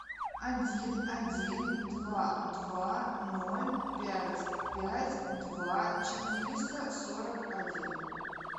один один два два ноль пять пять два четыреста сорок один